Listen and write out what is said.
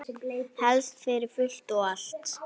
Helst fyrir fullt og allt.